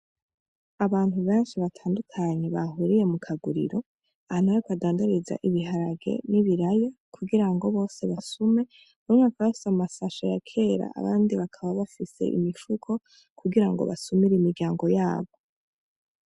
Abantu benshi batandukanye bahuriye mu kaguriro , ahantu badandariza ibiharage n'ibiraya kugira ngo bose basume bamwe bakaba bafise amashashe ya kera abandi bakaba bafise imifuko kugira ngo basumire imiryango yabo.